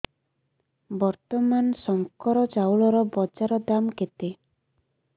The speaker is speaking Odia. ବର୍ତ୍ତମାନ ଶଙ୍କର ଚାଉଳର ବଜାର ଦାମ୍ କେତେ